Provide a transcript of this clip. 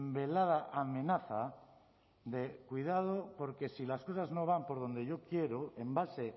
velada amenaza de cuidado porque si las cosas no van por donde yo quiero en base